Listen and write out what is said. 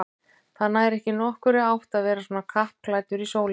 Það nær ekki nokkurri átt að vera svona kappklæddur í sólinni